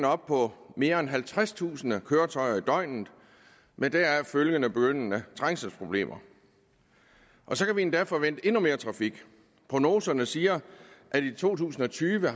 op på mere end halvtredstusind køretøjer i døgnet med deraf følgende begyndende trængselsproblemer og så kan vi endda forvente endnu mere trafik prognoserne siger at vi i to tusind og tyve